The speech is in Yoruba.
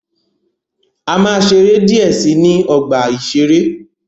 A máa ṣeré díẹ̀ si ní ọgbà-ìṣeré.